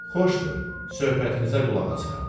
Xoşdur, söhbətinizə qulaq asıram.